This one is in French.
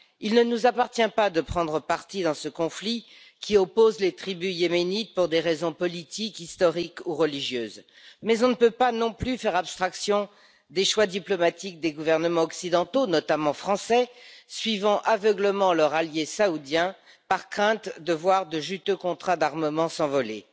Il ne nous appartient pas de prendre parti dans ce conflit qui oppose les tribus yéménites pour des raisons politiques, historiques ou religieuses, mais on ne peut pas non plus faire abstraction des choix diplomatiques des gouvernements occidentaux, notamment français, suivant aveuglément leur allié saoudien par crainte de voir de juteux contrats d'armement s'envoler.